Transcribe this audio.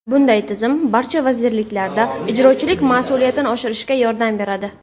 Bunday tizim barcha vazirliklarda ijrochilik mas’uliyatini oshirishga yordam beradi.